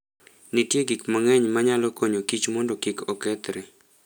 Nitie gik mang'eny manyalo konyo kich mondo kik okethre.